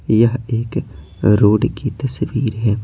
यह एक रोड की तस्वीर है।